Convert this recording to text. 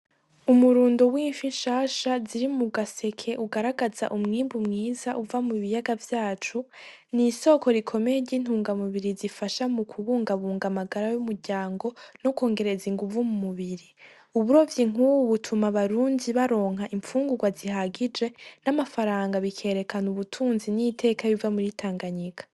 Umurundo w'ifi nshasha ziri mugaseke ugaragaza umwimbu mwiza uva mu biyaga vyacu n'isoko rikomeye ry'intunga mubiri bifasha m'ukubungabunga amagara y'umuryango no kongereza inguvu mumubiri, uburovyi nkubu butuma abarundi baronka infungurwa zihagije n'amafaranga bikerekana ubutunzi n'iteka biva muri Tanganyika.